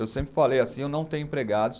Eu sempre falei assim, eu não tenho empregados.